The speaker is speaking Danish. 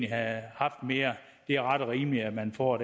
have haft mere er det ret og rimeligt at man får